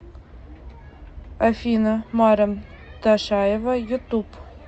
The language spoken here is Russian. афина марем ташаева ютуб